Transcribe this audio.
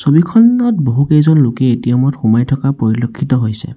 ছবিখনত বহু কেইজন লোকে এ_টি_এম ত সোমাই থকা পৰিলক্ষিত হৈছে।